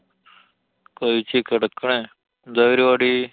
കഴിച്ചു, കിടക്കാണ്, എന്താ പരിപാടി?